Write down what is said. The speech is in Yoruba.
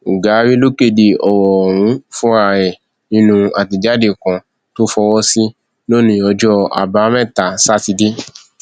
ugari ló kéde ọrọ ọhún fúnra ẹ nínú àtẹjáde kan tó fọwọ sí lónìí ọjọ àbámẹta sátidé